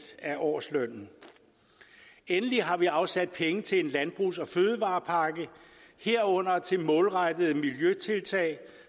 af årslønnen endelig har vi afsat penge til en landbrugs og fødevarepakke herunder til målrettede miljøtiltag